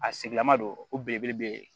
A sigilaman don o belebele be yen